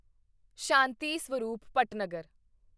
Shanti Swarup Bhatnagar